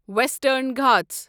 western Ghats